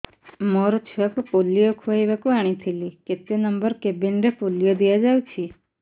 ମୋର ଛୁଆକୁ ପୋଲିଓ ଖୁଆଇବାକୁ ଆଣିଥିଲି କେତେ ନମ୍ବର କେବିନ ରେ ପୋଲିଓ ଦିଆଯାଉଛି